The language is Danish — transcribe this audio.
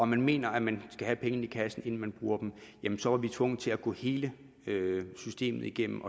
man mener at man skal have pengene i kassen inden man bruger dem så var vi tvunget til at gå hele systemet igennem